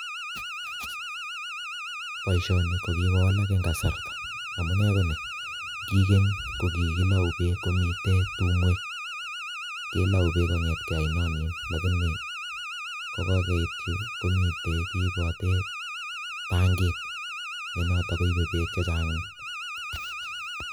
Poishoni ko kikowalak eng kasarta, amune ko ni; ki keny ko kikilou beek komite tumwek, kelou beek kong'etke oinonin lakini kokokeit yu komite kiipote tankit ne noto koipe beek chechang.